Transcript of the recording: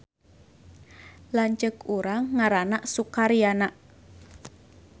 Lanceuk urang ngaranna Sukaryana